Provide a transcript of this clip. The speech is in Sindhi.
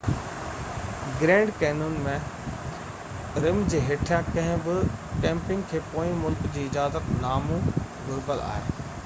گرينڊ ڪينون ۾ رم جي هيٺيان ڪنهن به ڪيمپنگ کي پوئين ملڪ جو اجازت نامو گهربل آهي